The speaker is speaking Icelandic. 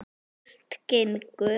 Fyrst gengu